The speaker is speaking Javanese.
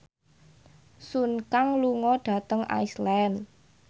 Sun Kang lunga dhateng Iceland